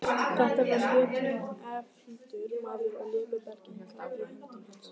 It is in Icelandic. Þetta var jötunefldur maður og léku belgirnir í höndum hans.